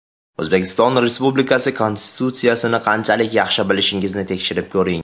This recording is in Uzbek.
O‘zbekiston Respublikasi Konstitutsiyasini qanchalik yaxshi bilishingizni tekshirib ko‘ring!